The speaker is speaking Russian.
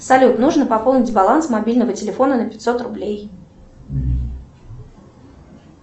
салют нужно пополнить баланс мобильного телефона на пятьсот рублей